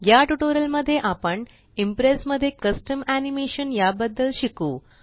या ट्यूटोरियल मध्ये आपण इंप्रेस मध्ये कस्टम एनिमेशन या बद्दल शिकू